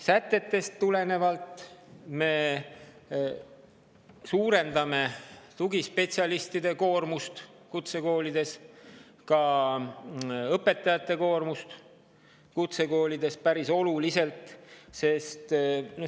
Sätetest tulenevalt me suurendame tugispetsialistide koormust kutsekoolides, ka õpetajate koormust kutsekoolides päris oluliselt.